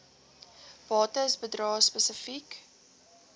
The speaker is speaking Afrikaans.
bates bedrae spesifiek